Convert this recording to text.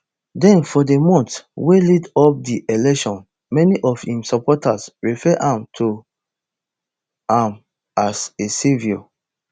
den for di months wey lead up di election many of im supporters refer to am as a saviour